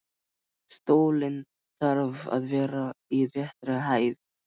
Stóllinn þarf að vera í réttri hæð.